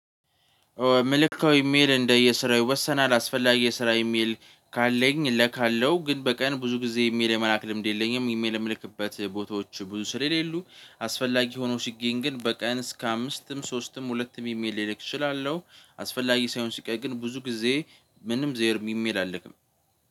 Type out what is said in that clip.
መልዕክታዊ ኢሜል እንደየስራው ይወሰናል አስፈላጊ የስራ ኢሜል ካለኝ እልካለሁ ግን በቀን ብዙ ጊዜ ኢሜል የመላክ ልምድ የለኝም። ኢሜል ምልክበት ቦታዎች ብዙ ስለሌሉ አስፈላጊ ሆኖ ሲገኝ ግን በቀን እስከ አምስትም ሶስትም ሁለትም ኢሜል ልልክ እችላለሁ። አስፈላጊ ሳይሆን ሲቀር ግን ብዙ ጊዜ ምንም ዩዘይርም ኢሜል አልክም።